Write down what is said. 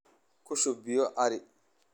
Ku shub biyo cari.